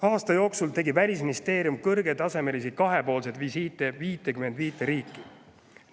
Aasta jooksul tegi Välisministeerium kõrgetasemelisi kahepoolseid visiite 55 riiki.